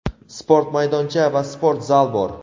sport maydoncha va sport zal bor.